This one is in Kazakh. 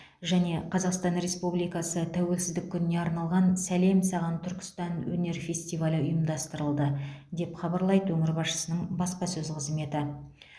және қазақстан республикасы тәуелсіздік күніне арналған сәлем саған түркістан өнер фестивалі ұйымдастырылды деп хабарлайды өңір басшысының баспасөз қызметі